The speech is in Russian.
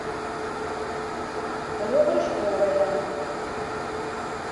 ребрышковая